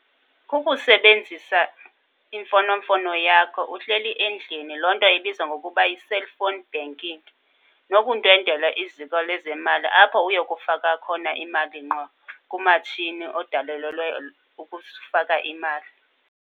Ukusebenzisa imfonomfono yakho uhleli endlini loo nto ibizwa ngokuba yi-cellphone banking. Nokundwendwela iziko lezemali apho uyokufaka khona imali ngqo kumatshini odalelelwe ukusifaka imali.